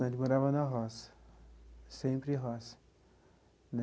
Nós morava na roça, sempre roça.